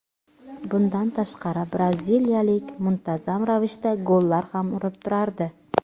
Bundan tashqari braziliyalik muntazam ravishda gollar ham urib turardi.